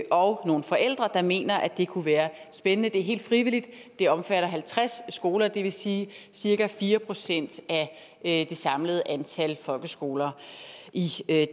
og nogle forældre der mener at det kunne være spændende det er helt frivilligt det omfatter halvtreds skoler og det vil sige cirka fire procent af det samlede antal folkeskoler i